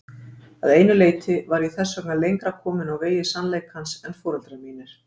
Að einu leyti var ég þess vegna lengra komin á vegi sannleikans en foreldrar mínir.